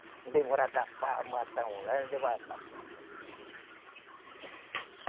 Não demora